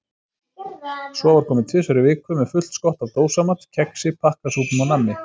Svo var komið tvisvar í viku með fullt skott af dósamat, kexi, pakkasúpum og nammi.